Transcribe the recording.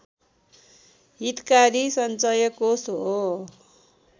हितकारी सञ्चयकोष हो